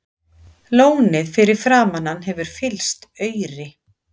Lónið fyrir framan hann hefur fyllst auri.